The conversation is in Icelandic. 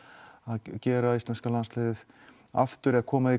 gera íslenska landsliðið aftur eða koma því